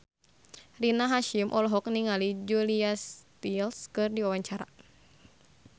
Rina Hasyim olohok ningali Julia Stiles keur diwawancara